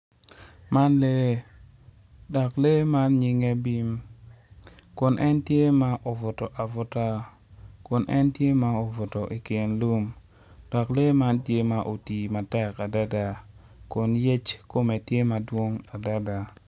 Man lee dok lee man nyinge bim kun en tye ma obuto abuta kun en tye ma obuto i kin lum dok lee man tye ma otii matek adada kun yec kome tye ma otwi madwong adada.